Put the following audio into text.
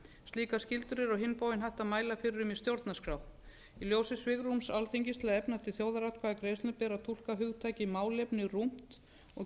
slíkar skyldur er á hinn bóginn hægt að mæla fyrir um í stjórnarskrá í ljósi svigrúms alþingis til að efna til þjóðaratkvæðagreiðslna ber að túlka hugtakið málefni rúmt og